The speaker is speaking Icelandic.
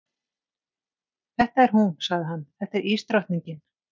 Þetta er hún, sagði hann, þetta er ísdrottningin.